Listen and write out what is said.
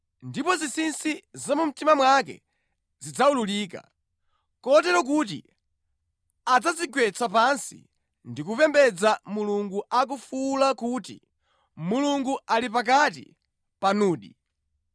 ndipo zinsinsi za mu mtima mwake zidzawululika. Kotero kuti adzadzigwetsa pansi ndi kupembedza Mulungu akufuwula kuti, “Mulungu ali pakati panudi!”